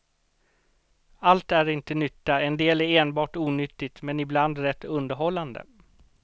Allt är inte nytta, en del är enbart onyttigt men ibland rätt underhållande.